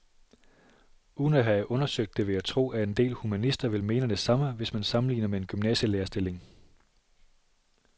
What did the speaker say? Uden at have undersøgt det vil jeg tro, at en del humanister vil mene det samme, hvis man sammenligner med en gymnasielærerstilling.